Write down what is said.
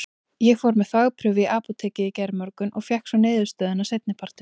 Ég fór með þvagprufu í apótekið í gærmorgun og fékk svo niðurstöðuna seinni partinn.